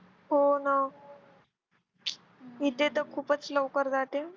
होणा इथे तर खूपच लवकर जाते.